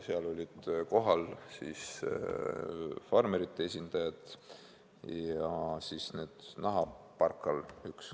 Seal olid kohal farmerite esindajad ja üks nahaparkal.